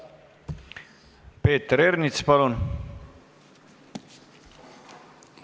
Peeter Ernits, palun!